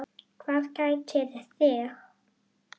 Hvað kætir þig?